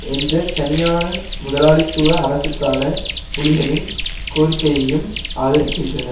என்ற தனியான முதலாளித்துவ அரசுக்கான புலிகளின் கோரிக்கையையும் ஆதரிக்கின்றன